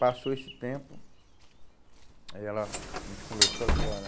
Passou esse tempo, aí ela, a gente conversou e ela falou, olha...